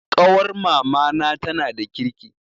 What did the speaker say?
Ƙawar mamana tana da kirki